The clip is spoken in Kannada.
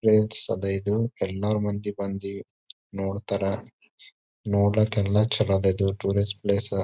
ಅದ್ ಇದು ಎಲ್ಲಾರು ಮಂದಿ ಬಂದಿ ನೋಡತ್ತರ್ ನೋಡ್ಲಕ್ಕೆಲ್ಲಾ ಚಲೋ ಅದ್ ಇದು ಟೂರಿಸ್ಟ್ ಪ್ಲೇಸ್ .